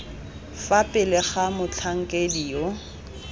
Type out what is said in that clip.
fa pele ga motlhankedi yo